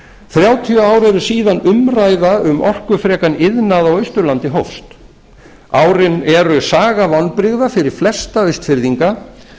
þrjátíu ár eru síðan umræða um orkufrekan iðnað á austurlandi hófst árin eru saga vonbrigða fyrir flesta austfirðinga